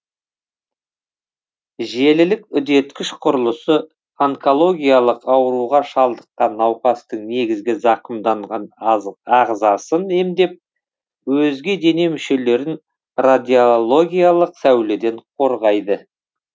желілік үдеткіш құрылысы онкологиялық ауруға шалдыққан науқастың негізгі зақымданған ағзасын емдеп өзге дене мүшелерін радиологиялық сәуледен қорғайды